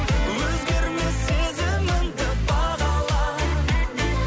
өзгермес сезіміңді бағала